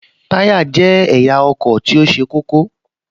Táyá jẹ́ ẹ̀yà ọkọ̀ tó ṣe kókó